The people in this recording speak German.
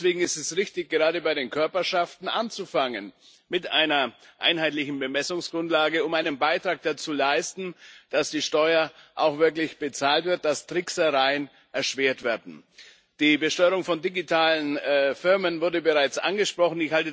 Deswegen ist es richtig, gerade bei den Körperschaften mit einer einheitlichen Bemessungsgrundlage anzufangen, um einen Beitrag dazu zu leisten, dass die Steuer auch wirklich bezahlt wird, dass Tricksereien erschwert werden. Die Besteuerung von digitalen Firmen wurde bereits angesprochen.